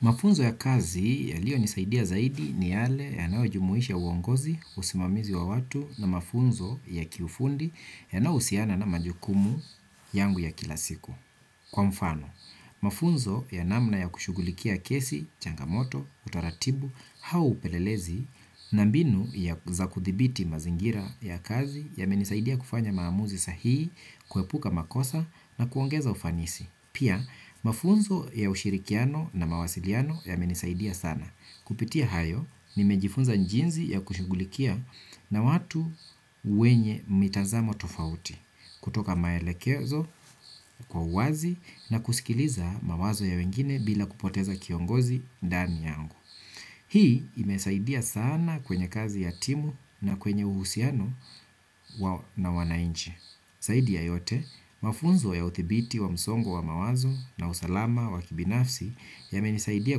Mafunzo ya kazi yaliyonisaidia zaidi ni yale yanayo jumuhisha uongozi, usimamizi wa watu na mafunzo ya kiufundi yanayohusiana na majukumu yangu ya kila siku. Kwa mfano, mafunzo ya namna ya kushugulikia kesi, changamoto, utaratibu, au upelelezi na mbinu ya za kuthibiti mazingira ya kazi yamenisaidia kufanya maamuzi sahihi, kuepuka makosa na kuongeza ufanisi. Pia, mafunzo ya ushirikiano na mawasiliano yamenisaidia sana. Kupitia hayo, nimejifunza jinsi ya kushughulikia na watu wenye mitazamo tofauti, kutoka maelekezo kwa uwazi na kusikiliza mawazo ya wengine bila kupoteza kiongozi ndani yangu. Hii imesaidia sana kwenye kazi hatimu na kwenye uhusiano na wanainchi. Zaidi ya yote, mafunzo ya uthibiti wa msongo wa mawazo na usalama wa kibinafsi yamenisaidia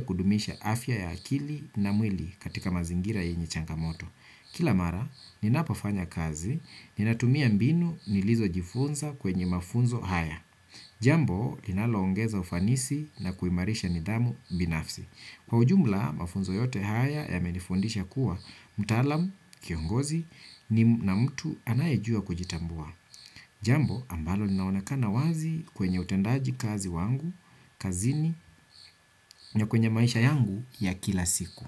kudumisha afya ya akili na mwili katika mazingira yenye changamoto. Kila mara, ninapopafanya kazi, ninatumia mbinu nilizojifunza kwenye mafunzo haya. Jambo, linaloongeza ufanisi na kuimarisha nidhamu binafsi. Kwa ujumla, mafunzo yote haya yamenifundisha kuwa mtaalam, kiongozi na mtu anayejua kujitambua. Jambo ambalo linaonekana wazi kwenye utendaji kazi wangu, kazini, na kwenye maisha yangu ya kila siku.